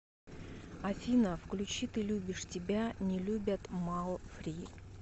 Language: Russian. афина включи ты любишь тебя не любят маллфри